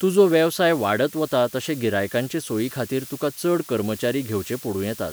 तुजो वेवसाय वाडत वता तशे गिरायकांचे सोयीखातीर तुका चड कर्मचारी घेवचे पडूं येतात.